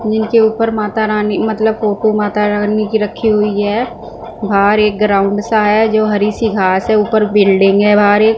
जिनके ऊपर माता रानी मतलब को को माता रानी की रखी हुई है बाहर एक ग्राउंड सा है जो हरी सी घांस है ऊपर बिल्डिंग है भारी--